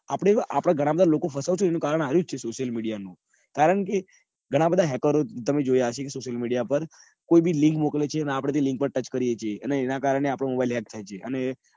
આપડે ઘણાં બધા લોકો ફસાતા હોય એનું કારણ આરુ જ છે કારણ કે ઘણાં બધા hacker તમે જોયા હશે social media માં કોઈ બી link મોક્લેચે ને આપડે એ link touch કર્યે છીએ. અને એના કરને આપનો mobile hack થાય છે.